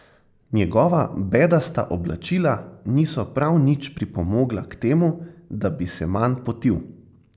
Njegova bedasta oblačila niso prav nič pripomogla k temu, da bi se manj potil.